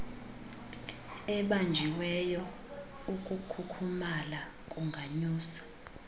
ebanjiweyo ukukhukhumala kunganyusa